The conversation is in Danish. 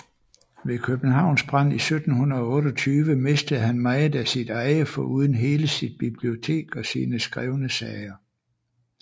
Ved Københavns brand 1728 mistede han meget af sit eje foruden hele sit bibliotek og sine skrevne sager